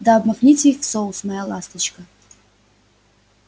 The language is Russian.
да обмакните их в соус моя ласточка